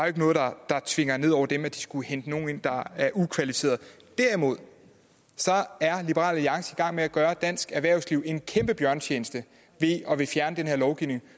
ikke noget der tvinges ned over dem altså at de skulle hente nogle ind der er ukvalificerede derimod er liberal alliance i gang med at gøre dansk erhvervsliv en kæmpe bjørnetjeneste ved at ville fjerne den her lovgivning